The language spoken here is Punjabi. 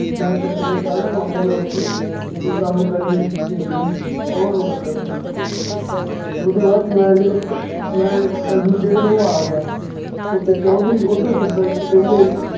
ਮੈਂ ਚੱਲੂਗਾ ਕੱਲ ਨੂੰ ਆਉਂਗਾ ਓਥੇ ਤੇ ਤੂੰ ਕੰਮ ਕਰੀਂ ਦੇਖਾਂਗੇ ਕੌਣ ਰੋਕਦਾ ਤੈਨੂੰ ਓਦੂ ਬਾਅਦ ਚ ਮੈਂ ਜਦੋਂ ਮੈਂ ਚੱਲ ਦੂਜੇ ਦਿਨ ਓਹ ਆ ਗਿਆ ਓਥੇ ਚੌਧਰੀ ਓਧਰ ਸਰਪੰਚ ਕਹਿੰਦੇ ਸੀ,